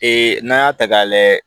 n'an y'a ta k'a lajɛ